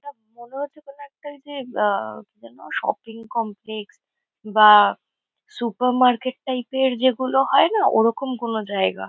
এটা মনে হচ্ছে কোনো একটা ওই যে আ কি যেন শপিং কমপ্লেক্স বা সুপার মার্কেট টাইপ -এর যেগুলো হয় না? ওরকম কোনো জায়গা।